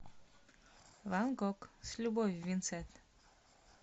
ван гог с любовью винсент